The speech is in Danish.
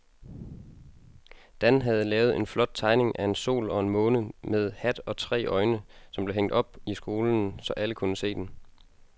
Dan havde lavet en flot tegning af en sol og en måne med hat og tre øjne, som blev hængt op i skolen, så alle kunne se den.